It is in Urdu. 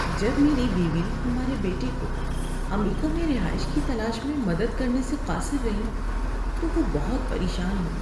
جب میری بیوی ہمارے بیٹے کو امریکہ میں رہائش کی تلاش میں مدد کرنے سے قاصر رہی تو وہ بہت پریشان ہوئی۔